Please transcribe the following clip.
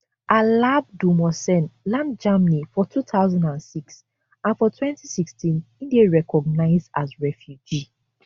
alabdulmohsen land germany for two thousand and six and for twenty sixteen e dey recognised as refugee